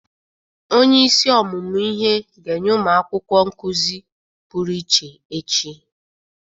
Onyeisi ọmụmụ ihe ga-enye ụmụ akwụkwọ nkụzị pụrụ iche echi.